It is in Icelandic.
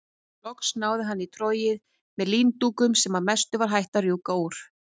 Loks náði hann í trogið með líndúkunum sem að mestu var hætt að rjúka úr.